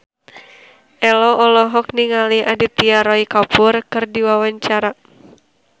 Ello olohok ningali Aditya Roy Kapoor keur diwawancara